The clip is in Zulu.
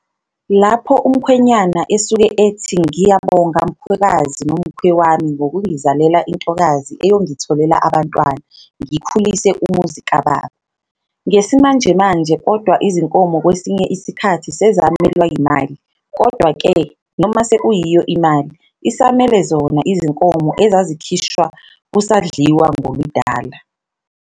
Lapho umkhwenyana esuke ethi, "ngiyabonga Mkhwekazi noMkhwe wami ngokungizalela intokazi eyongitholela abantwana, ngikhulise umuzi kababa". Ngesimanjemanje kodwa izinkomo kwesiye isikhathi sezamelwa yimali, kodwake, noma sekuyiyo imali, isamele zona izinkomo ezazikhishwa kusadliwa ngoludala.